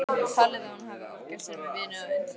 Talið að hún hafi ofgert sér með vinnu að undanförnu.